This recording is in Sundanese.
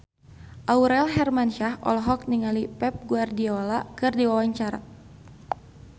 Aurel Hermansyah olohok ningali Pep Guardiola keur diwawancara